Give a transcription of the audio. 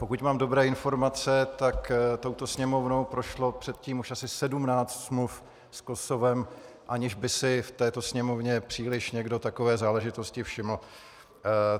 Pokud mám dobré informace, tak touto Sněmovnou prošlo předtím už asi 17 smluv s Kosovem, aniž by si v této Sněmovně příliš někdo takové záležitosti všiml.